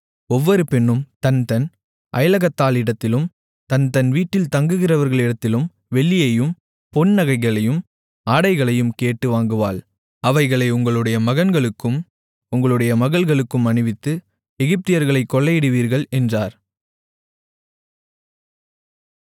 ஒவ்வொரு பெண்ணும் தன்தன் அயலகத்தாளிடத்திலும் தன்தன் வீட்டில் தங்குகிறவளிடத்திலும் வெள்ளியையும் பொன் நகைகளையும் ஆடைகளையும் கேட்டு வாங்குவாள் அவைகளை உங்களுடைய மகன்களுக்கும் உங்களுடைய மகள்களுக்கும் அணிவித்து எகிப்தியர்களைக் கொள்ளையிடுவீர்கள் என்றார்